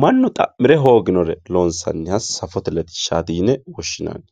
mannu xa'mire hooginoha loonsanniha safote latishshati yinanni.